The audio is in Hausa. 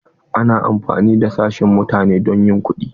Ana amfani da sashen mutane don yin kuɗi.